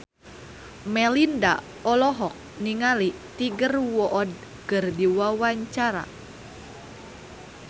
Melinda olohok ningali Tiger Wood keur diwawancara